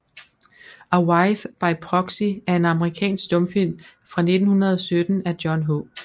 A Wife by Proxy er en amerikansk stumfilm fra 1917 af John H